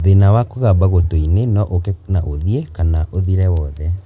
Thĩna wa kũgamba gũtũ-inĩ no ũke na ũthiĩ , kana ũthire wothe